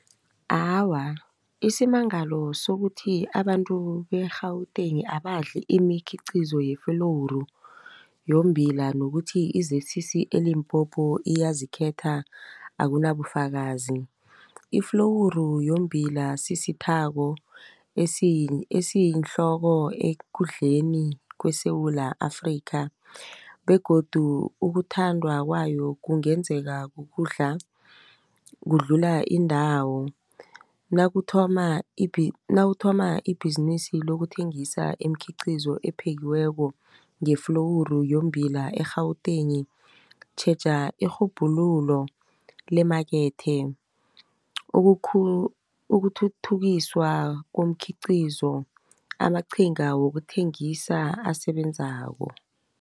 Awa, isimangalo sokuthi abantu be-Gauteng abadlali imikhiqizo yeflowuru yombila nokuthi i-Z_C_C eLimpopo iyazikhetha akunabufakazi. Iflowuru yombila sisithako esiyinhloko ekudleni kweSewula Afrika begodu ukuthandwa kwayo kungenzeka kudlula indawo. Nawuthoma ibhizinisi lokuthengisa imikhiqizo ephekiweko ngeflowuru yombila e-Gauteng tjheja irhubhululo lemakethe, ukuthuthukiswa komkhiqizo, amaqhinga wokuthengisa asebenzako.